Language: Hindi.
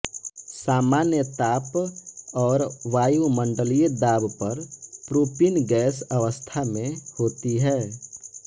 सामान्य ताप और वायुमण्डलीय दाब पर प्रोपीन गैस अवस्था में होती है